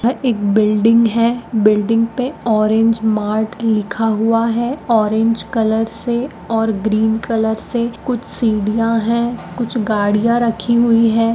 यह एक बिल्डिंग है बिल्डिंग पे ऑरेंज मार्ट लिखा हुआ है ऑरेंज कलर से और ग्रीन कलर से कुछ सीढ़ियां है कुछ गाड़ियां रखी हुई है।